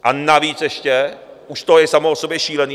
A navíc ještě - už to je samo o sobě šílené.